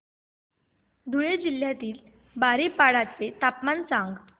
धुळे जिल्ह्यातील बारीपाडा चे तापमान सांग